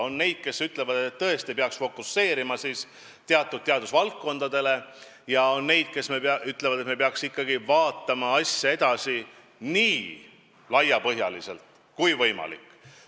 On neid, kes ütlevad, et tõesti peaks fokuseerima teatud teadusvaldkondadele, ja on neid, kes ütlevad, et me peaks ikkagi arendama teadust edasi nii laiapõhjaliselt kui võimalik.